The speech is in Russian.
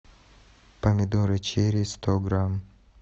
помидоры черри сто грамм